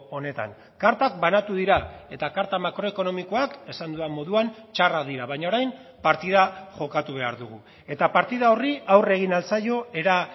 honetan kartak banatu dira eta karta makroekonomikoak esan dudan moduan txarrak dira baina orain partida jokatu behar dugu eta partida horri aurre egin ahal zaio era